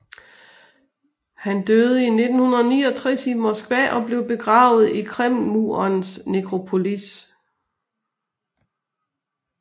Han døde i 1969 i Moskva og blev begravet i Kremlmurens nekropolis